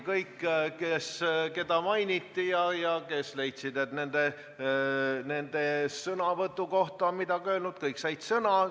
Kõik, keda mainiti ja kes leidsid, et nende sõnavõtu kohta on midagi öeldud, said sõna.